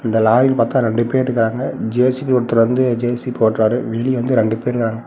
இந்த லாரில பாத்தா ரெண்டு பேர் இருக்காங்க. ஜே_சி_பி ஒருத்தர் வந்து ஜே_சி_பி ஓட்டுறாரு வெளிய வந்து ரெண்டு பேர் இருக்காங்க.